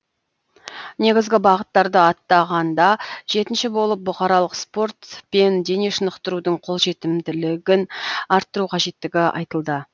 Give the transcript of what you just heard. негізгі бағыттарды атағанда жетінші болып бұқаралық спорт пен дене шынықтырудың қолжетімділігін арттыру қажеттігі айтылды